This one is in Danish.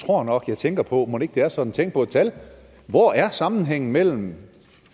tror nok jeg tænker på mon ikke det er sådan tænk på et tal hvor er sammenhængen mellem